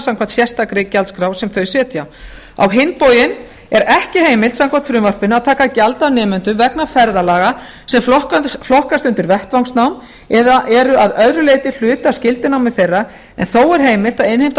samkvæmt sérstakri gjaldskrá sem þau setja á hinn bóginn er ekki heimilt samkvæmt frumvarpinu að taka gjald af nemendum vegna ferðalaga sem flokkast undir vettvangsnám eða eru að öðru leyti hluti af skyldunámi þeirra en þó er heimilt að innheimta